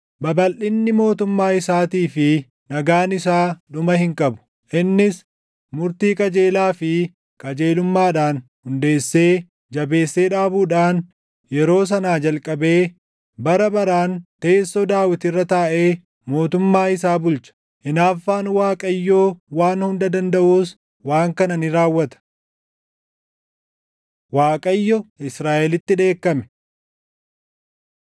Babalʼinni mootummaa isaatii fi nagaan isaa dhuma hin qabu. Innis murtii qajeelaa fi qajeelummaadhaan hundeessee jabeessee dhaabuudhaan yeroo sanaa jalqabee bara baraan teessoo Daawit irra taaʼee mootummaa isaa bulcha. Hinaaffaan Waaqayyoo Waan Hunda Dandaʼuus waan kana ni raawwata. Waaqayyo Israaʼelitti Dheekkame